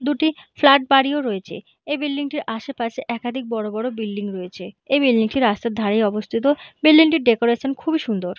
দুটি ফ্লাট বাড়িও রয়েছে এই বিল্ডিং - টির আশেপাশে একাধিক বড়ো বড়ো বিল্ডিং রয়েছে এই বিল্ডিং - টি রাস্তার ধারেই অবস্থিত বিল্ডিং - টির ডেকোরেশন খুব এই সুন্দর।